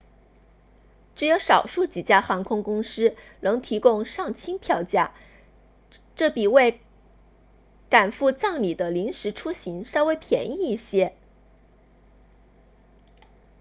只有少数几家航空公司扔提供丧亲票价这比为赶赴葬礼的临时出行稍微便宜一些